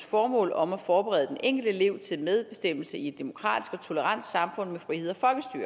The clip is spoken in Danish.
formål om at forberede den enkelte elev til medbestemmelse i et demokratisk og tolerant samfund med frihed og